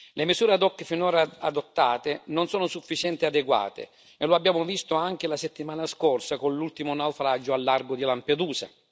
Le misure ad hoc finora adottate non sono sufficienti e adeguate, e lo abbiamo visto anche la settimana scorsa con l'ultimo naufragio al largo di Lampedusa.